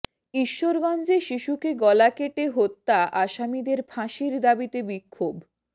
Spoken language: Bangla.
ঈশ্বরগঞ্জে শিশুকে গলা কেটে হত্যা আসামিদের ফাঁসির দাবিতে বিক্ষোভ